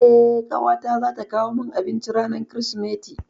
Eh, ƙawata zata kawo min abinci ranar Kirsimeti.